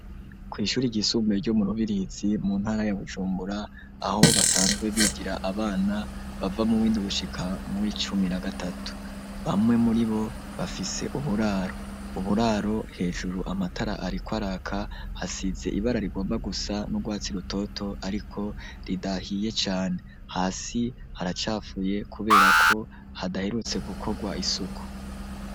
Kw'ishuri ry'isumbuye ryo mu Rubirizi mu ntara ya Bujumbura aho basanzwe bigira abana bava mu windwi gushika mu'icumi na gatatu bamwe muri bo bafise uburaro .Uburaro hejuru amatara arikwaraka hasize ibara rigomba gusa n'urwatsi rutoto ariko ridahiye cane, hasi haracafuye kubera ko hadaherutse gukorwa isuku.